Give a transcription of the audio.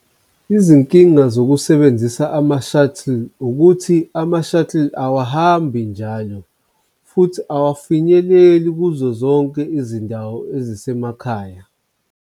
Izinkinga zokusebenzisa ama-shuttles ukuthi ama-shuttle awahambi njalo, futhi awafinyeleli kuzo zonke izindawo ezisemakhaya.